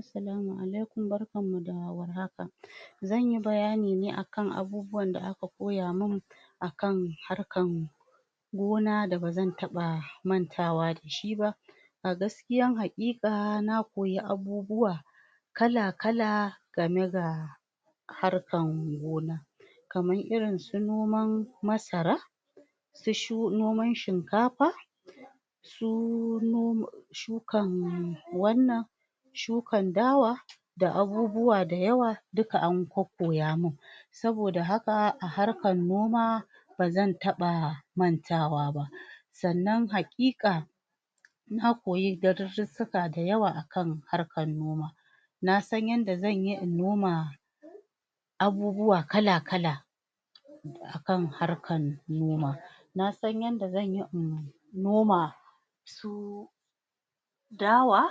assalama alaikum barkan mu da war haka zanyi bayani ne akan abubuwan da aka koya man akan harkan gona da bazan taba mantawa dashi ba a gaskiyar hakika na koyi abubwa kala kala game da harkan gona kamar irin noman masara su noman shinkafa su noman su shukan wannan sukan dawa da abubuwa da yawa duka an kokkoya mun saboda haka a harkan noma bazan taba mantawa ba sannan hakika na koyi darissuka da yawa akan kaarkar noma nasan yadda zanyi in noma abubuwa kala kala akan harkan noma nasan yanda zanyi in noma dawa